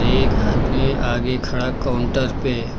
एक आदमी आगे खड़ा काउंटर पे--